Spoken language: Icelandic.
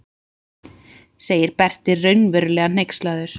segir Berti raunverulega hneykslaður.